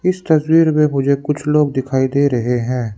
इस तस्वीर में मुझे कुछ लोग दिखाई दे रहे हैं।